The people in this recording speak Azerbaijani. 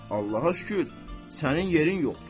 Allaha şükür, sənin yerin yoxdur?